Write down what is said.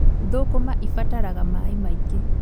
Thũkũma ibataraga maaĩ maingĩ